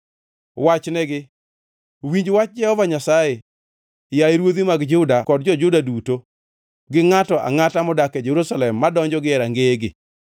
Wachnegi, ‘Winj wach Jehova Nyasaye, yaye ruodhi mag Juda kod jo-Juda duto gi ngʼato angʼata modak e Jerusalem madonjo gie rangeyegi.